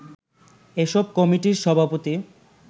এসব কমিটির সভাপতি